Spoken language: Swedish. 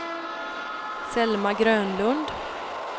Selma Grönlund